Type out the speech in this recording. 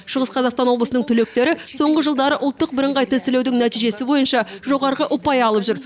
шығыс қазақстан облысының түлектері соңғы жылдары ұлттық бірыңғай тестілеудің нәтижесі бойынша жоғарғы ұпай алып жүр